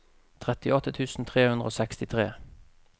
trettiåtte tusen tre hundre og sekstitre